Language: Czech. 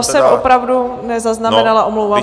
To jsem opravdu nezaznamenala, omlouvám se.